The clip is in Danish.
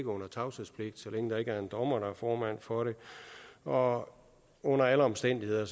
under tavshedspligt så længe der ikke er en dommer der er formand for det og under alle omstændigheder